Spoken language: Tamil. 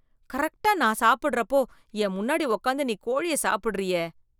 கரெக்ட்டா நான் சாப்பிடறப்போ, என் முன்னாடி உக்காந்து நீ கோழிய சாப்பிடுறியே..